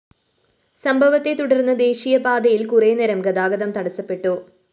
സംഭവത്തെത്തുടര്‍ന്ന് ദേശീയപാതയില്‍ കുറേ നേരം ഗതാഗതം തടസപ്പെട്ടു